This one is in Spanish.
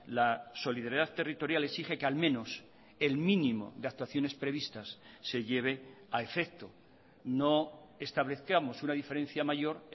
la solidaridad territorial exige que al menos el mínimo de actuaciones previstas se lleve a efecto no establezcamos una diferencia mayor